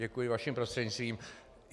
Děkuji vaším prostřednictvím.